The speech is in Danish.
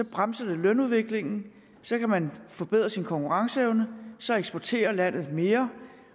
bremser det lønudviklingen så kan man forbedre sin konkurrenceevne så eksporterer landet mere